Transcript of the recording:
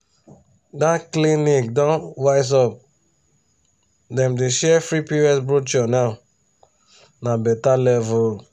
that clinic don wise up dem dey share free pcos brochure now. na better level.